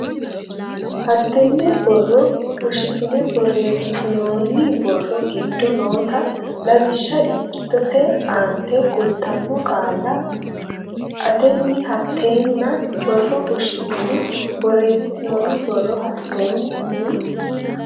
hattenne borro fushshitine borreessitinoonni borro giddo noota Lawishsha ikkitote aante kultanno qaalla la atenni hattenne borro fushshitine borreessitinoonni borro hattenne.